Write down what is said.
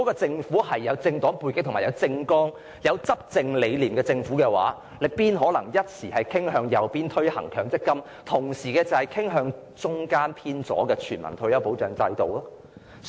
政府如果有政黨背景、政綱或執政理念，又怎麼可能傾向右方推行強積金計劃，而同時又傾向中間偏左推行全民退休保障制度呢？